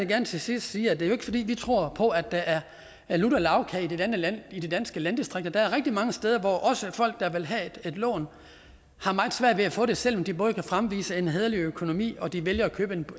gerne til sidst sige at det jo ikke er fordi vi tror på at der er lutter lagkage i de danske landdistrikter der er rigtig mange steder hvor også folk der vil have et lån har meget svært ved at få det selv om de både kan fremvise en hæderlig økonomi og de vælger at købe